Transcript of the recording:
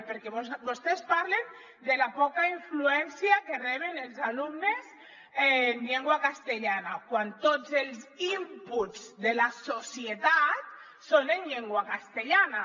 perquè vostès parlen de la poca influència que reben els alumnes en llengua castellana quan tots els inputs de la societat són en llengua castellana